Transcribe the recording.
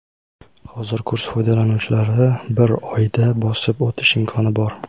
hozir kurs foydalanuvchilari bir oyda bosib o‘tish imkoni bor.